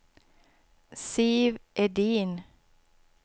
Siv Edin